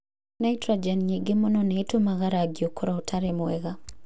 Nitũrojeni nyingĩ mũno nĩ itũmaga rangi ũkorũo ũtarĩ mwega